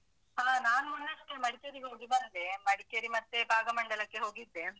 ಹಾ ನಾನ್ ಮೊನ್ನೆಯಷ್ಟೇ ಮಡಿಕೇರಿಗೆ ಹೋಗಿ ಬಂದೆ. ಮಡಿಕೇರಿ ಮತ್ತೆ ಭಾಗಮಂಡಲಕ್ಕೆ ಹೋಗಿದ್ದೆ.